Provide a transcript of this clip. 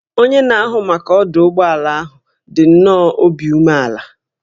Onye na-ahụ maka ọdụ ụgbọ ala ahụ dị nnọọ obi umeala